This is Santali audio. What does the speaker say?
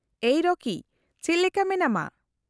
-ᱮᱭ ᱨᱚᱠᱤ, ᱪᱮᱫ ᱞᱮᱠᱟ ᱢᱮᱱᱟᱢᱟ ?